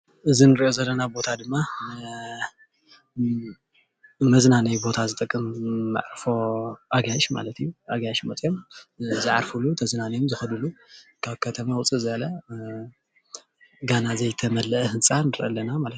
እዚ እንሪኦ ዘለና ቦታ ድማ ንመዝናነይ ቦታ ዝጠቅም መዕርፎ አጋይሽ ማለት እዩ፡፡ ኣጋይሽ መፅኦም ዝዓርፍሉ ተዝናንዮም ዝከድሉ ካብ ከተማ ውፅእ ዝበለ ገና ዘይተመለአ ህንፃ ንርኢ ኣለና ማለት እዩ፡፡